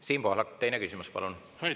Siim Pohlak, teine küsimus, palun!